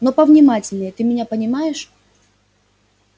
но повнимательнее ты меня понимаешь